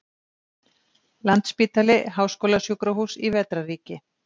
Landspítali- háskólasjúkrahús í vetrarríki.